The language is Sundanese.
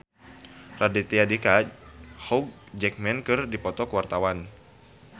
Raditya Dika jeung Hugh Jackman keur dipoto ku wartawan